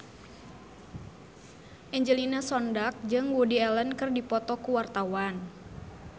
Angelina Sondakh jeung Woody Allen keur dipoto ku wartawan